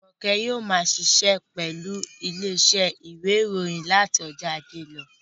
Jùmọ̀kẹ́ yóò ma ṣiṣẹ́ pẹ̀lú ilé iṣẹ́ ìwé ìròyìn láti ọjọ́ ajé lọ